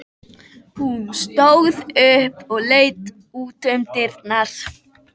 Hún stóð upp og leit út um dyrnar.